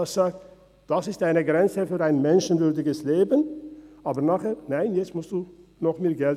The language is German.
Man stellt eine Grenze für ein menschenwürdiges Leben fest und fordert anschliessend wieder Geld.